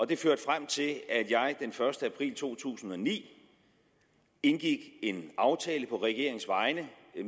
det førte frem til at jeg den første april to tusind og ni indgik en aftale på regeringens vegne